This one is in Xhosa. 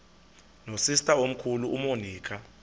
nosister omkhulu umonica